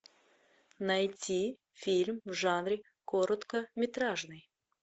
найти фильм в жанре короткометражный